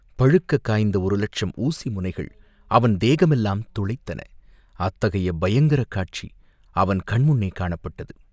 பழுக்கக் காய்ந்த ஒரு லட்சம் ஊசி முனைகள் அவன் தேகமெல்லாம் துளைத்தன, அத்தகைய பயங்கரக் காட்சி அவன் கண்முன்னே காணப்பட்டது.